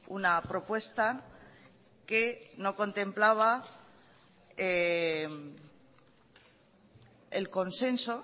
una propuesta que no contemplaba el consenso